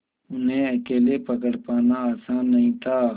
उन्हें अकेले पकड़ पाना आसान नहीं था